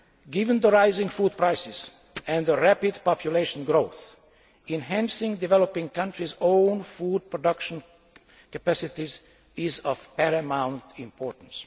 Given the rising food prices and rapid population growth, enhancing developing countries' own food production capacities is of paramount importance.